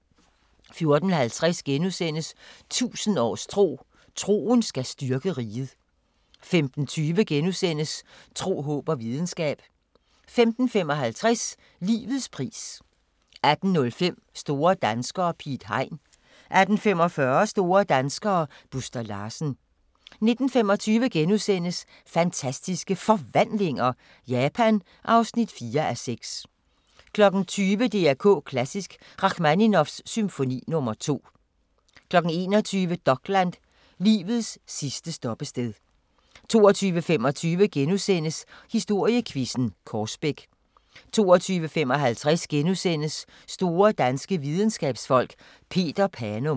14:50: 1000 års tro: Troen skal styrke riget * 15:20: Tro, håb og videnskab * 15:55: Livets pris 18:05: Store danskere - Piet Hein 18:45: Store danskere - Buster Larsen 19:25: Fantastiske Forvandlinger – Japan (4:6)* 20:00: DR K Klassisk: Rachmaninovs symfoni nr. 2 21:00: Dokland: Livets sidste stoppested 22:25: Historiequizzen: Korsbæk * 22:55: Store danske videnskabsfolk: Peter Panum *